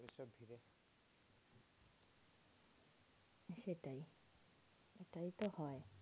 সেটাই এটাই তো হয়।